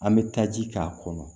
An bɛ taa ji k'a kɔnɔ